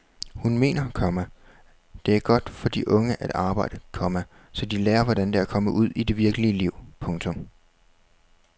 Hun mener, komma det er godt for de unge at arbejde, komma så de lærer hvordan det er at komme ud i det virkelige liv. punktum